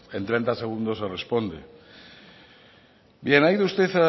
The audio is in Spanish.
en treinta segundos se responde bien ha ido usted